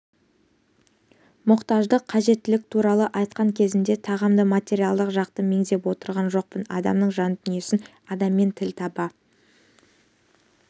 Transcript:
мұқтаждық қажеттілік туралы айтқан кезімде тағамды материалдық жақты меңзеп отырған жоқпын адамның жан дүниесін адаммен тіл таба